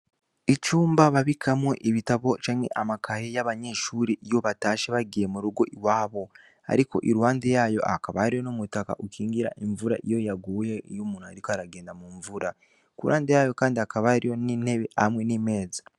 Icumba babikamwo ibitabo canke amakahe y'abanyeshuri iyobatashe bagiye mu rugo i wabo, ariko i ruhande yayo akabariyo n'umutaka ukingira imvura iyo yaguye iyo umuntu, ariko aragenda mu mvura ku ruhande yayo, kandi akabariyo n'intebe hamwe n'imeza.